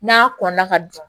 N'a kɔnna ka don